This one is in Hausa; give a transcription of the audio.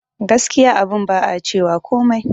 Gaskiya abun ba a cewa komai